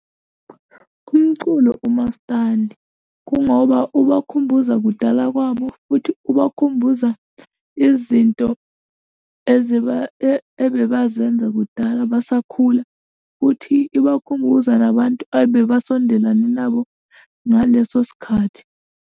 Umculo umaskandi, kungoba ubakhumbuza kudala kwabo, futhi ubakhumbuza izinto ebebazenza kudala basakhula, futhi ibakhumbuza nabantu ebebasondelane nabo ngaleso sikhathi.